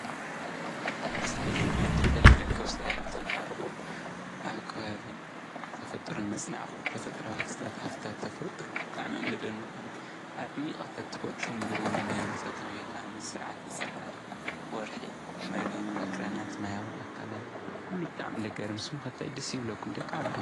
ኣብዚ ሕዚ ዕድል ተትረክብስ እንታይ ምተማሃርኩ ኣብ ከባቢ ተፈጥሮ መፅናዕኹ፡፡ ተፈጥራዊ ክስተት ሃፍትታት ተፈጥሮ ብጣዕሚ እዮም ዘደንቕኒ ኣዕሟቐ ተትፈልጦም ኢለ ልምነ ስርዓተ ፀሓይ፣ ወርሒ ፣ መሬት ፣ ኣኽራናት፣ ማያዊ ኣካላት ኩሉ ብጣዕሚ እዩ ለገርም፡፡ ንስኹም ከ እንታይ ደስ ይብለኩም ደቂ ዓበይቲ?